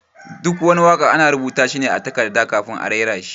Duk wani waka ana rubuta shi ne a takarda kafin a raira shi.